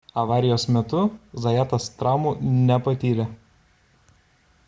avarijos metu zajatas traumų nepatyrė